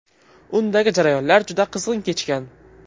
Undagi jarayonlar juda qizg‘in kechgan.